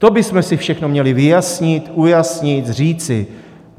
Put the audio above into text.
To bychom si všechno měli vyjasnit, ujasnit, říci.